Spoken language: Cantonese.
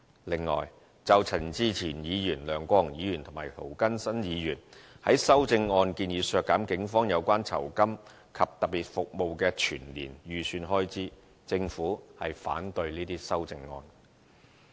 此外，就陳志全議員、梁國雄議員和涂謹申議員在修正案建議削減警察有關酬金及特別服務的全年預算開支，政府反對這些修正案。